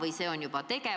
Aitäh sulle, hea Helmen!